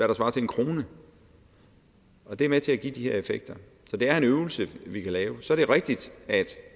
der svarer til en kr og det er med til at give de her effekter så det er en øvelse vi kan lave og så er det rigtigt at